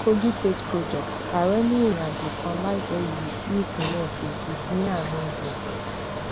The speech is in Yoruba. kogi state projects ààrẹ ní ìrìn àjò kan láìpé yìí sí ìpínlẹ kogi ní àárín gbùngbùn